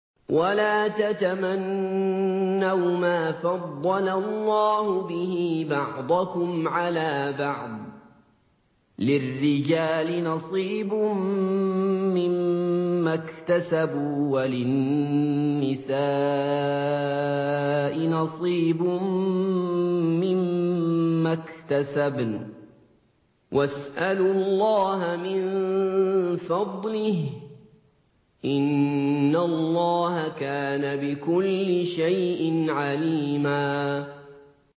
وَلَا تَتَمَنَّوْا مَا فَضَّلَ اللَّهُ بِهِ بَعْضَكُمْ عَلَىٰ بَعْضٍ ۚ لِّلرِّجَالِ نَصِيبٌ مِّمَّا اكْتَسَبُوا ۖ وَلِلنِّسَاءِ نَصِيبٌ مِّمَّا اكْتَسَبْنَ ۚ وَاسْأَلُوا اللَّهَ مِن فَضْلِهِ ۗ إِنَّ اللَّهَ كَانَ بِكُلِّ شَيْءٍ عَلِيمًا